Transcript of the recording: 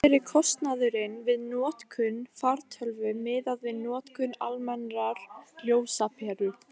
hver er kostnaðurinn við notkun fartölvu miðað við notkun almennrar ljósaperu